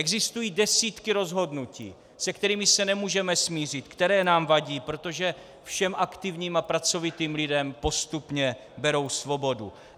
Existují desítky rozhodnutí, se kterými se nemůžeme smířit, které nám vadí, protože všem aktivním a pracovitým lidem postupně berou svobodu.